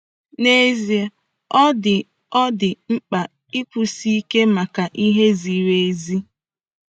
N'ezie, ọ dị ọ dị mkpa ịkwụsi ike maka ihe ziri ezi.